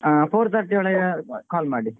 ಹಾ four thirty ಒಳಗೆ call ಮಾಡಿ.